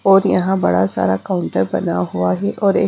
और यहां बड़ा सारा काउंटर बना हुआ है और एक--